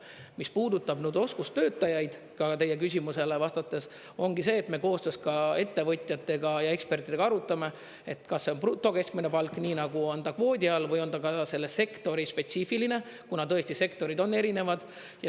Mis puudutab oskustöötajaid, teie küsimusele vastates, ongi see, et me koostöös ettevõtjate ja ekspertidega arutame, kas see on keskmine brutopalk, nii nagu on ta kvoodi all, või on ta ka selle sektori spetsiifiline, kuna tõesti, sektorid on erinevad.